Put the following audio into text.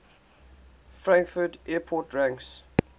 frankfurt airport ranks